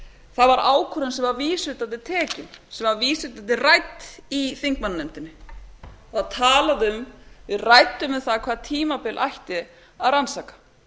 það var ákvörðun sem var vísvitandi tekin sem var vísvitandi rædd í þingmannanefndinni það var talað um að við ræddum um það hvaða tímabil ætti að